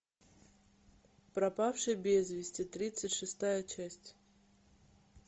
пропавший без вести тридцать шестая часть